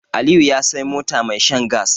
Aliyu ya Sai mota mai shan gas